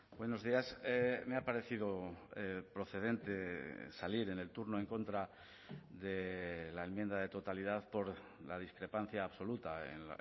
buenos días me ha parecido procedente salir en el turno en contra de la enmienda de totalidad por la discrepancia absoluta en